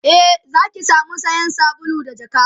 e Zaki samu sayan sabulu da jakka